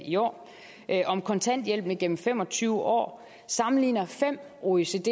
i år om kontanthjælpen igennem fem og tyve år sammenligner fem oecd